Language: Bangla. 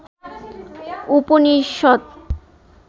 উপনিষদ